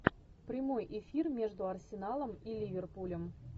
прямой эфир между арсеналом и ливерпулем